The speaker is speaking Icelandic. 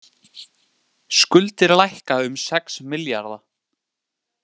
Skuldir lækka um sex milljarða